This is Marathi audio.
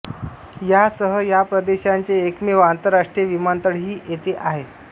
यासह या प्रदेशाचे एकमेव आंतरराष्ट्रीय विमानतळही येथे आहे